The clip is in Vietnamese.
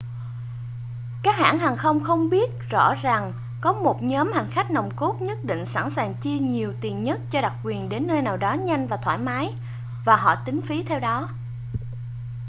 các hãng hàng không biết rõ rằng có một nhóm hành khách nòng cốt nhất định sẵn sàng chi nhiều tiền nhất cho đặc quyền đến nơi nào đó nhanh và thoải mái và họ tính phí theo đó